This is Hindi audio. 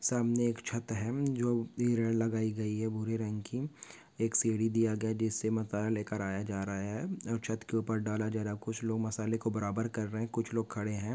सामने एक छत है जो लगाई गई है भूरे रंग की एक सीडी दिया गया है जिससे मसाला लेकर आया जा रहा है और छत के ऊपर डाला जा रहा कुछ लोग मसाले को बराबर कर रहे कुछ लोग खड़े है।